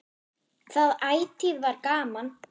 Það ætíð var gaman.